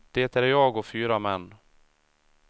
Det är jag och fyra män.